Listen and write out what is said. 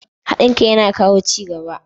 Haɗin kai yana kawo ci gaba.